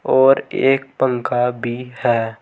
और एक पंखा भी है।